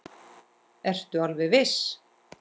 Ertu alveg viss?